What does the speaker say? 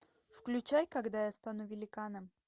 включай когда я стану великаном